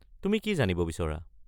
তুমি কি জানিব বিচৰা?